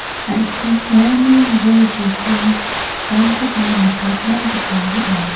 an·ching iano bol bipangrangkoba nikatna gita man·a.